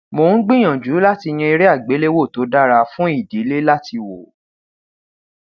mo n gbiyanju lati yan ere agbelewo to dara fun idile lati wo